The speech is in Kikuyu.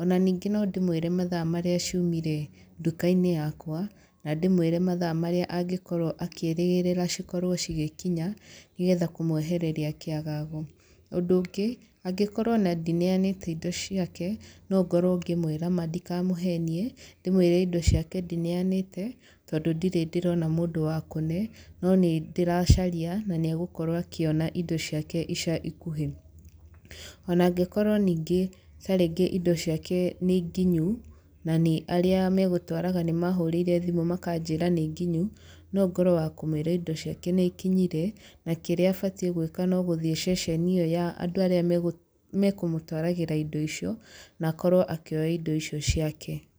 Ona ningĩ no ndĩmũĩre mathaa marĩa ciumire nduka-inĩ yakwa, na ndĩmũĩre mathaa marĩa angĩkorwo akĩrĩgĩrĩra cikorwo cigĩkinya, nĩgetha kũmũehereria kĩagago. Ũndũ ũngĩ, angĩkorwo ona ndineanĩte indo ciake, no ngorwo ngĩmũĩra ma ndikamũhenie, ndĩmũĩre indo ciake ndineanĩte, tondũ ndirĩ ndĩrona mũndũ wa kũne, no nĩ ndĩracaria, na nĩ egũkorwo akĩona indo ciake ica ikuhĩ. Ona angĩkorwo ningĩ tarĩngĩ indo ciake nĩ nginyu, na nĩ arĩa megũtwaraga nĩ mahũrĩire thimũ makanjĩra nĩ nginyu, no ngorwo wa kũmũĩra indo ciake nĩ ikinyire, na kĩrĩa abatiĩ gwĩka no gũthiĩ ceceni ĩyo ya andũ arĩa mekũmũtwaragĩra indo icio, na akorwo akĩoya indo icio ciake.